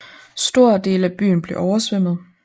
Store dele af byen blev oversvømmet